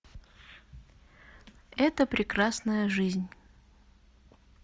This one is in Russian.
эта прекрасная жизнь